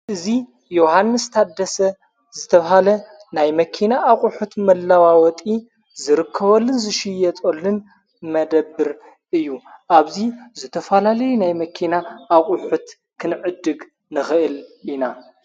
ዙይ ዮሓንስ ታደሰ ዝተብሃለ ናይ መኪና ኣቝሑት መላዋወጢ ዝርከወልን ዝሽየ ጸልን መደብር እዩ ኣብዙይ ዘተፈላልይ ናይ መኪና ኣቝሑት ኽንዕድግ ንኽእል ኢና::